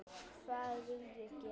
Hvað vill ég gera?